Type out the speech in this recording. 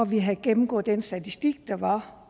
vi har gennemgået den statistik der var